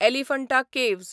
Elephanta caves